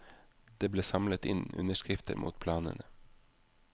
Det ble samlet inn underskrifter mot planene.